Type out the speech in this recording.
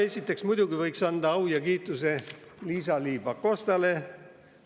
Esiteks muidugi võiks anda au ja kiituse Liisa-Ly Pakostale.